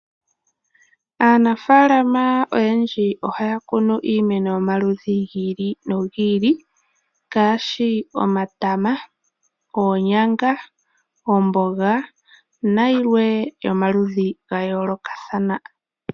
Aanafaalama oyendji ohaya kunu iimeno yomaludhi gili nigi ili ngaashi omatama, oonyanga, oomboga nayilwe yomaludhi gayoolokathana.